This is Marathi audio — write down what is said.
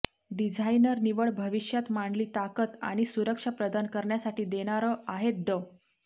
डिझाइनर निवड भविष्यात मांडणी ताकद आणि सुरक्षा प्रदान करण्यासाठी देणारं आहेत ड